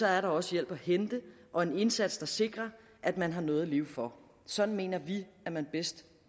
er der også hjælp at hente og en indsats der sikrer at man har noget at leve for sådan mener vi at man bedst